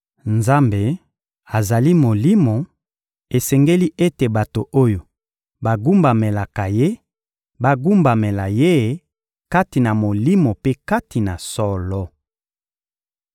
Nzambe azali Molimo; esengeli ete bato oyo bagumbamelaka Ye bagumbamela Ye kati na Molimo mpe kati na solo.